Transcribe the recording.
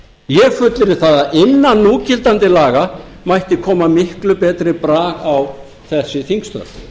ég fullyrði það að innan núgildandi laga mætti koma miklu betri brag á þessi þingstörf